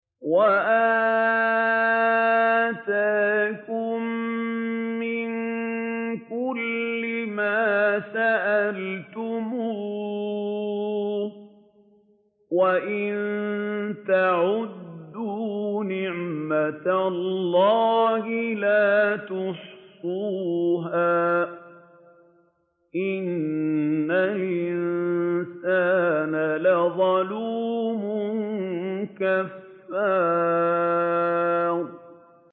وَآتَاكُم مِّن كُلِّ مَا سَأَلْتُمُوهُ ۚ وَإِن تَعُدُّوا نِعْمَتَ اللَّهِ لَا تُحْصُوهَا ۗ إِنَّ الْإِنسَانَ لَظَلُومٌ كَفَّارٌ